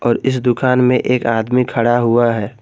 और इस दुकान में एक आदमी खड़ा हुआ है।